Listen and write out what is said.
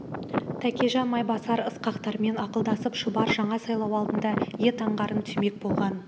тәкежан майбасар ысқақтармен ақылдасып шұбар жаңа сайлау алдында ед аңғарын түймек болған